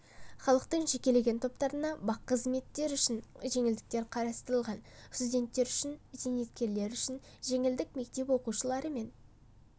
халықтың жекелеген топтарына бақ қызметтері үшін жеңілдіктер қарастырылған студенттер үшін зейнеткерлер үшін жеңілдік мектеп оқушылары мен